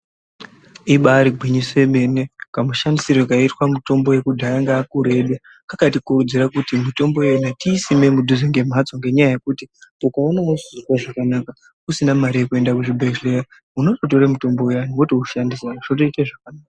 Ibari gwinyiso yemene kamushandisirwo kaiitwa mitombo yakudhaya ngaakuru edu kakatikurudzira kuti mitombo iyona tiisime mudhuze ngemhatso. Ngenyaya yekuti ukaona usikuzwa zvakanaka usina mari yekuenda kuzvibhedhlera unototora mutombo uyani wotoushandisa wotoita zvakanaka.